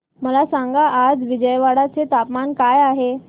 मला सांगा आज विजयवाडा चे तापमान काय आहे